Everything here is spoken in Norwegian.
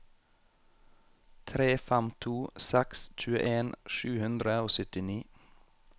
tre fem to seks tjueen sju hundre og syttini